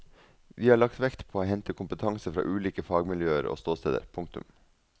Vi har lagt vekt på å hente kompetanse fra ulike fagmiljøer og ståsteder. punktum